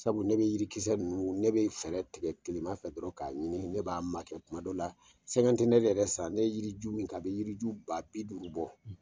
Sabu ne be yirikisɛninnu ne be fɛɛrɛ tigɛ tilema fɛ dɔrɔn k'a ɲini ne b'a makɛ kuma dɔ la sɛkantenɛri yɛrɛ san ne ye yiri ju min kɛ a be yiri ju ba biduru bɔ